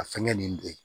A fɛngɛ nin don